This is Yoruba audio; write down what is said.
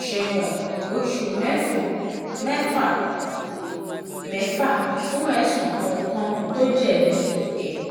ṣẹ̀wọ̀n oṣù mẹ́fà-mẹ́fà fún ẹ̀sùn kọ̀ọ̀kan tó jẹ̀bi ẹ̀